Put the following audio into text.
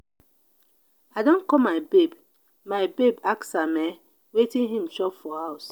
i don call my babe my babe ask am um wetin im chop for house.